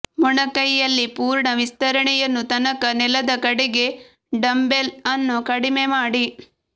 ಮೊಣಕೈಯಲ್ಲಿ ಪೂರ್ಣ ವಿಸ್ತರಣೆಯನ್ನು ತನಕ ನೆಲದ ಕಡೆಗೆ ಡಂಬ್ಬೆಲ್ ಅನ್ನು ಕಡಿಮೆ ಮಾಡಿ